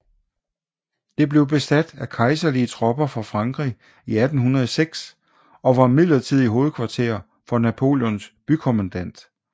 Det blev besat af kejserlige tropper fra Frankrig i 1806 og var midlertidigt hovedkvarter for Napoleons bykommandant